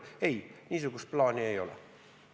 Ei, niisugust plaani ei ole.